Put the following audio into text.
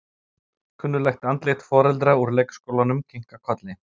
Kunnugleg andlit foreldra úr leikskólanum kinka kolli.